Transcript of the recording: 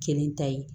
Kelen ta ye